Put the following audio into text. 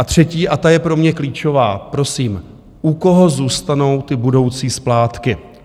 Za třetí - a ta je pro mě klíčová, prosím: U koho zůstanou ty budoucí splátky?